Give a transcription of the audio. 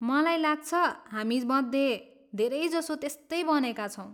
मलाई लाग्छ, हामीमध्ये धेरैजसो त्यस्तै बनेका छौँ।